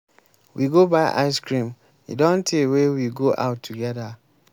we go buy ice cream. e don tey wey we go out together.